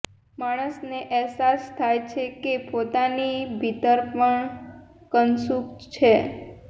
માણસને અહેસાસ થાય છે કે પોતાની ભીતર પણ કશુંક છે